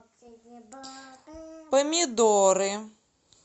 помидоры